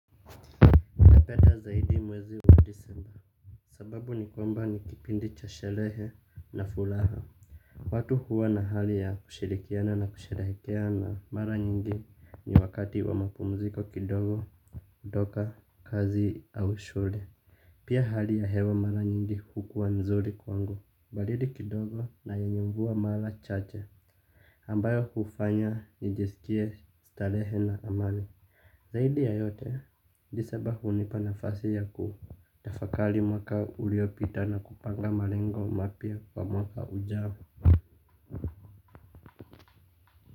Napenda zaidi mwezi wa disemba. Sababu ni kwamba ni kipindi cha sherehe na furaha. Watu huwa na hali ya kushirikiana na kusherehekea na mara nyingi ni wakati wa mapumziko kidogo, kutoka, kazi au shule. Pia hali ya hewa mara nyingi kukua mzuri kwangu. Baridi kidogo na yenye mvua mara chache. Ambayo kufanya nijiskie starehe na amani. Zaidi ya yote, disemba hunipa nafasi ya ku. Tafakari mwaka uliopita na kupanga malengo mapya kwa mwaka ujao.